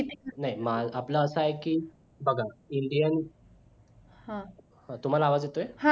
नाही माझं आपलं असं हाय कि बघा indian तुम्हाला आवाज येतोय